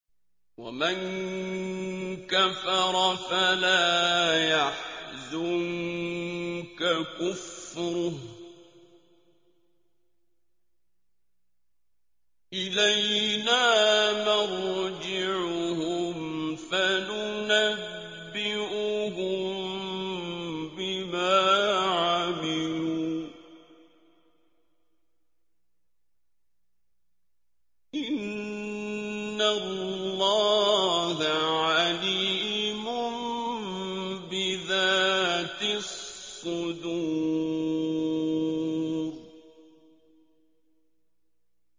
وَمَن كَفَرَ فَلَا يَحْزُنكَ كُفْرُهُ ۚ إِلَيْنَا مَرْجِعُهُمْ فَنُنَبِّئُهُم بِمَا عَمِلُوا ۚ إِنَّ اللَّهَ عَلِيمٌ بِذَاتِ الصُّدُورِ